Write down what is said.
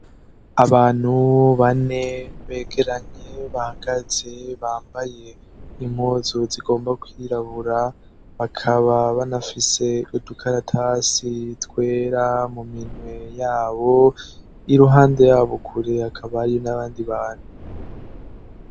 Abantu bane begeranye bahagaze bambaye impuzu zigomba kwirabura bakaba banafise udukaratasi itwera mu minwe yabo i ruhande yabo ukure akabari n'abandi bantu.